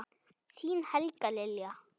Þín Helga Lilja.